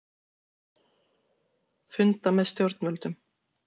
Funda með stjórnvöldum